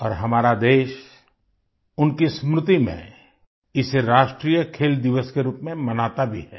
और हमारा देश उनकी स्मृति में इसे राष्ट्रीय खेल दिवस के रूप में मनाता भी है